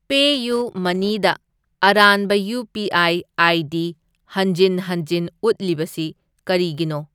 ꯄꯦꯌꯨꯃꯅꯤꯗ ꯑꯔꯥꯟꯕ UPI. ID. ꯍꯟꯖꯤꯟ ꯍꯟꯖꯤꯟ ꯎꯠꯂꯤꯕꯁꯤ ꯀꯔꯤꯒꯤꯅꯣ?